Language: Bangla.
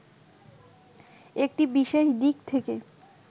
একটি বিশেষ দিক থেকে